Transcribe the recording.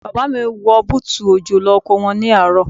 Bàbá mi wọ bútù òjò lọ oko wọn ní àárọ̀.